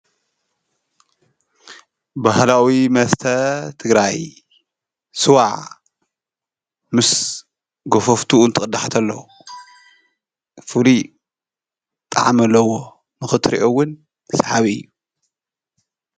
ባሃላዊ መስተ ትግራይ ስዋ ምስ ጐፎፍቱኡ ትቕዳሕ ተሎ ፍሉይ ጣዕሚ አለዎ ንኽትርኦ እውን ሰሓቢ እዩ።